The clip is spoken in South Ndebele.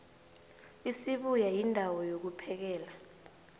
isibuya yindawo yokvphekela